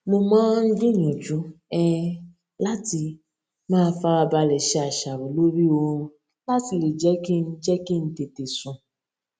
mo máa ń gbìyànjú um láti máa farabalẹ ṣe àṣàrò lórí oorun láti lè jẹ kí n jẹ kí n tètè sùn